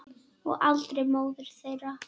Og aldrei móður þeirra.